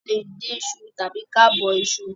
A le dín iṣu tàbi kí a bọ iṣu